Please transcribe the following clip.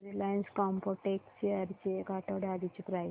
Reliance Chemotex shares ची एक आठवड्या आधीची प्राइस